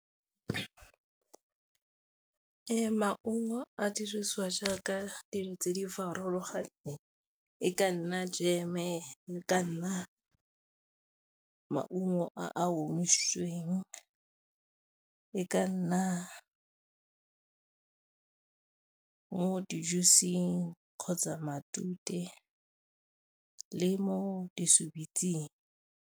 Maungo a dirisiwa jaaka dijo tse di farologaneng e ka nna jeme, e kana maungo a omisitsweng, e ka nna mo di-juice-ing kgotsa matute le mo .